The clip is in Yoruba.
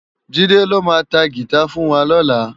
Jide ló má tá gitá fùn wá lòlá